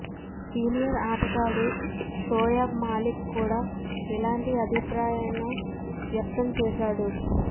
senior ఆటగాడు షోయబ్ మాలిక్ కూడా ఇలాంటి అభిప్రాయానే్న వ్యక్తం చేశాడు